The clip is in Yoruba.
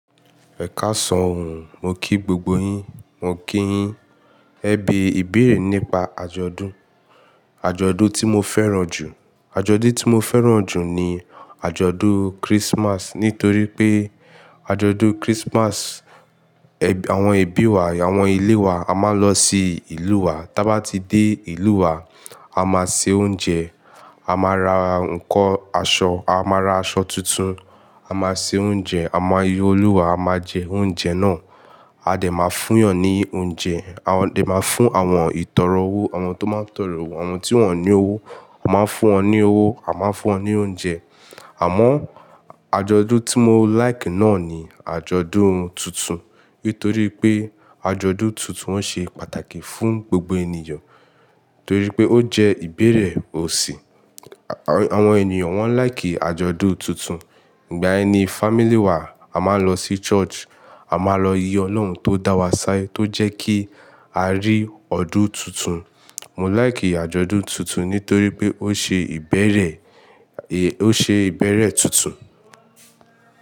Ẹ ká sọ ohun, mo kí gbogbo yin, mo kí yin. Ẹ be ìbéèrè nípa àjọ̀dún, àjọ̀dún tí mo fẹ́ràn jù. Àjọ̀dún tí mo fẹ́ràn jù ni àjọ̀dún Christmas nítorí pé àjọ̀dún Christmas, àwọn ẹbí wa, àwọn ilé wa, a máa lọ sí ìlú wa. Tí a bá ti dé ìlú wa, a máa se oúnjẹ, a máa ra nkán aṣọ, a máa ra aṣọ tuntun, a máa se oúnjẹ, a máa yi Olúwa, a máa jẹ oúnjẹ náà. A dè máa fún èèyàn ní oúnjẹ, a máa fún àwọn ìtọrọ owó, àwọn tó máa ń tọrọ owó, àwọn tí wọ́n ní owó, a máa fún wọn ní owó, a máa fún wọn ní oúnjẹ. Àmọ́ àjọ̀dún tí mo like náà ni àjọ̀dún tuntun. Nítorí pé àjọ̀dún tuntun, ọ́ ṣe pàtàkì fún gbogbo ènìyàn. Torí pé ó jẹ́ ìbẹ̀rẹ̀ ọ̀sìn. Àwọn ènìyàn wọ́n like àjọ̀dún tuntun. Ìgbà yẹni family wa, a máa ń lọ sí church, a máa lọ yí Ọlọ́run tó dá wa sí tó jẹ́ kí a rí ọdún tuntun. Mo like àjọ̀dún tuntun nítorí pé ó ṣe ìbẹ̀rẹ̀, ó ṣe ìbẹ̀rẹ̀ tuntun.